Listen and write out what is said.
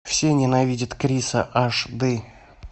все ненавидят криса аш ды